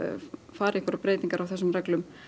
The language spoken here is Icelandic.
fara í einhverjar breytingar á þessum reglum